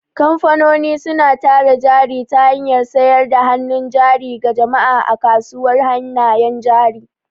Kamfanoni suna tara jari ta hanyar sayar da hannun jari ga jama'a a kasuwar hannayen jari.